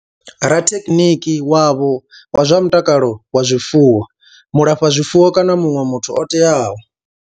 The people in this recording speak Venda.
Rathekhiniki wavho wa zwa mutakalo wa zwifuwo, mulafhazwifuwo kana muṅwe muthu o teaho.